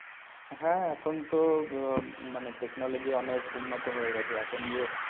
হ্যাঁ এখন তো আহ মানে technology অনেক উন্নত হয়ে গেছে এখন যে